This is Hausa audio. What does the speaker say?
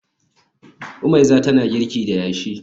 Omeiza tana girki da yashi